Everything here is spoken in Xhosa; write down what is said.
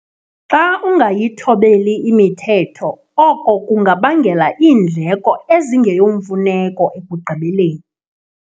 Xa ungayithobeli imithetho oko kungabangela iindleko ezingeyomfuneko ekugqibeleni.